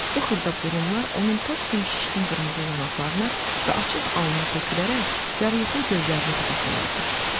Bu xırda burumlar onun top kimi şişkin qırmızı yanaqlarına və açıq alnına tökülərək yuxulu gözlərini qıdıqlayırdı.